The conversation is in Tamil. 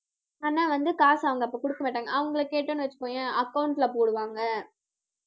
ஆனா வந்து காசு அவங்க அப்ப குடுக்க மாட்டாங்க. அவங்களை கேட்டோம்னு வச்சுக்கோயேன் account ல போடுவாங்க